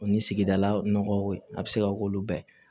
O ni sigidala nɔgɔw a bɛ se ka k'olu bɛɛ ye